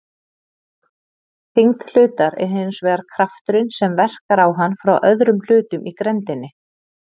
Þyngd hlutar er hins vegar krafturinn sem verkar á hann frá öðrum hlutum í grenndinni.